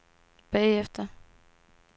bagefter